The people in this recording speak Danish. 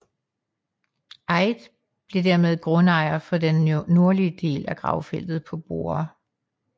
Eyde blev dermed grundejer for den nordlige del af gravfeltet på Borre